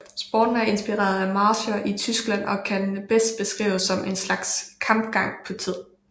Sporten er inspireret af marcher i Tyskland og kan bedst beskrives som en slags kapgang på tid